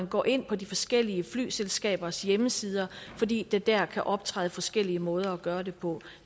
går ind på de forskellige flyselskabers hjemmesider fordi der der kan optræde forskellige måder at gøre det på